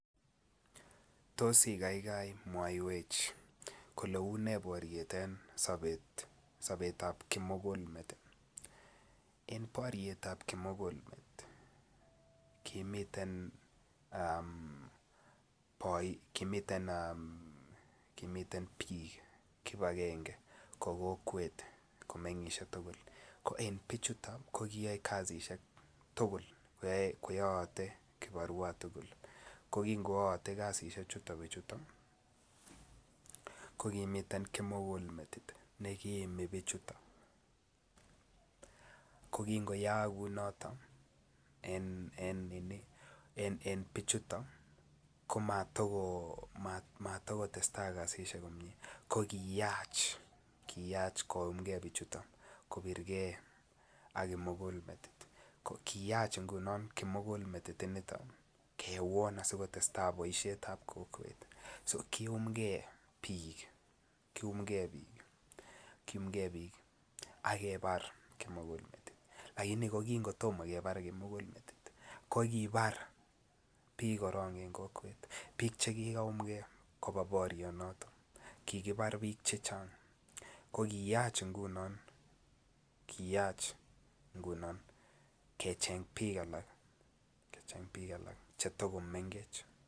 Tos I kaikai mwaiwech kole unee boriet en sobetab kimugul met en boriet ab kimugul met kimiten bik kibagenge ko kokwet ko mengisie tugul ko en bichuto ko kiyae kasisyek tugul koyoote kibarua tugul ko kingoaate kasisyechu bichuto ko kimiten kimugul met nekiimi bichu ko kingoyaak kou noton ko mata kotestai kasisyek komie ko kiyach koyumge kobir ge ak kimugul met kiyach ngunon kimugul met initon kewon asi kotestai boisiet ab kokwet kiyumge ak kebar kimugul met lakini kin kotom kebar kimugul met ko ki bar bik korok en kokwet bik Che kikayumge koba borianato ko ki yach ngunon kecheng bik cheta komengech